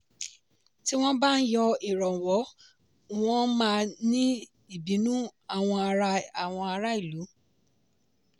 tí wọn bá yọ ìrànwọ́ wọ́n máa ní ìbínú àwọn ará ìlú.